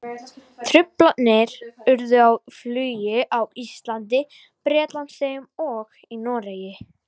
Truflanir urðu á flugi á Íslandi, Bretlandseyjum og í Noregi.